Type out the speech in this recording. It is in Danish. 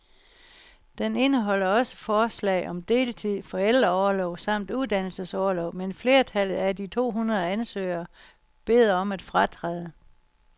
Den indeholder også forslag om deltid, forældreorlov samt uddannelsesorlov, men flertallet af de to hundrede ansøgere beder om at fratræde.